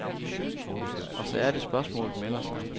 Og så er det spørgsmålet melder sig.